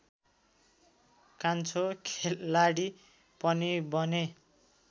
कान्छो खेलाडी पनि बने